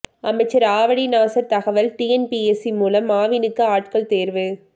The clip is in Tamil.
அமைச்சர் ஆவடி நாசர் தகவல் டிஎன்பிஎஸ்சி மூலம் ஆவினுக்கு ஆட்கள் தேர்வு